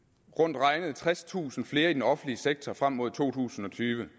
rundt regnet tredstusind flere i den offentlige sektor frem mod to tusind og tyve